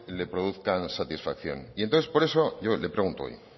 le produzcan satisfacción y entonces por eso yo le he preguntado